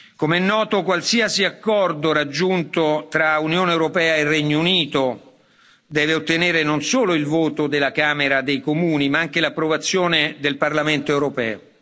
Come è noto, qualsiasi accordo raggiunto tra Unione europea e Regno Unito deve ottenere non solo il voto della Camera dei Comuni ma anche l'approvazione del Parlamento europeo.